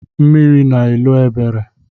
Mmiri na-elo Ebere.